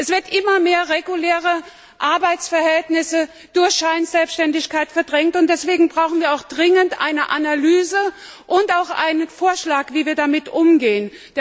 Es werden immer mehr reguläre Arbeitsverhältnisse durch Scheinselbständigkeit verdrängt, und deswegen brauchen wir auch dringend eine Analyse und einen Vorschlag, wie wir damit umgehen.